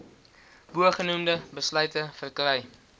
bogenoemde besluite verkry